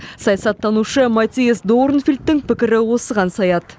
саясаттанушы маттиас дорнфельдттің пікірі осыған саяды